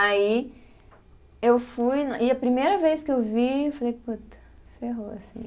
Aí, eu fui, e a primeira vez que eu vi, eu falei, puta, ferrou, assim.